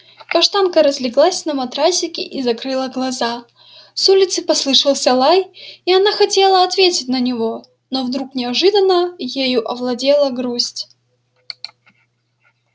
каштанка разлеглась на матрасике и закрыла глаза с улицы послышался лай и она хотела ответить на него но вдруг неожиданно ею овладела грусть